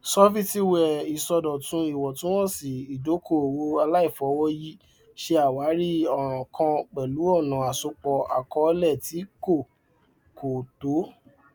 sọfítíwẹà ìṣòdọtún ìwọntúnwọnsì ìdókòowó àlàìfọwọyì ṣe àwárí ọràn kan pẹlú ọnà asopọ àkọọlẹ tí kò kò tọ